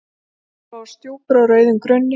Fjólubláar stjúpur á rauðum grunni.